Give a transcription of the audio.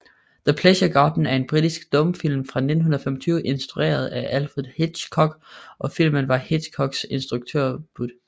The Pleasure Garden er en britisk stumfilm fra 1925 instrueret af Alfred Hitchcock og filmen var Hitchcocks instruktørdebut